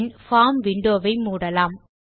பின் form window வை மூடலாம்